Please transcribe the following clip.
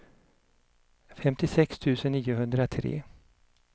femtiosex tusen niohundratre